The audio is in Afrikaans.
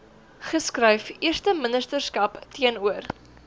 geskryf eersteministerskap teenoor